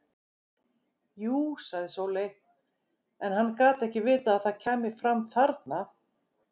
Jú, sagði Sóley, en hann gat ekki vitað að það kæmi fram þarna.